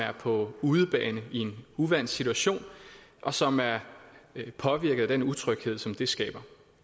er på udebane i en uvant situation og som er påvirket af den utryghed som det skaber